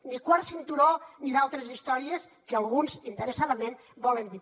ni quart cinturó ni altres històries que alguns interessadament volen dir